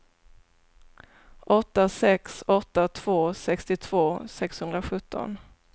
åtta sex åtta två sextiotvå sexhundrasjutton